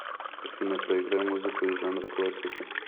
афина проиграй музыку из жанра классика